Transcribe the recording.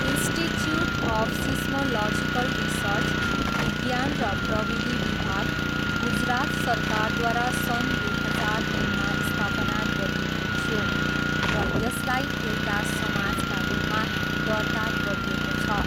Institute of seismological research, विज्ञान र प्रविधि विभाग, गुजरात सरकारद्वारा सन् दुई हजार तिनमा स्थापना गरिएको थियो र यसलाई एउटा समाजका रूपमा दर्ता गरिएको छ।